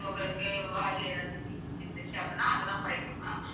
so உங்களுக்கு வாயிலே ஏதாச்சும் தீப்புண் இருந்துச்சு அப்படின்னா அதெல்லாம் குறைக்கும் mam